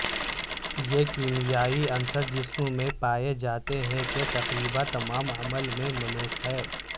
یہ کیمیائی عنصر جسم میں پائے جاتے ہیں کہ تقریبا تمام عمل میں ملوث ہے